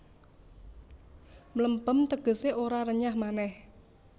Mlempem tegesé ora renyah manéh